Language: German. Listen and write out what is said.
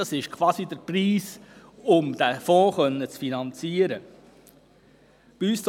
Das ist quasi der Preis für die Finanzierung dieses Fonds.